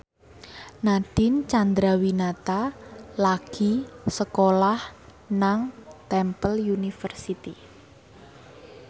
Nadine Chandrawinata lagi sekolah nang Temple University